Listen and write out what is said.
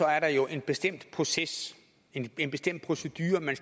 er der jo en bestemt proces en en bestemt procedure man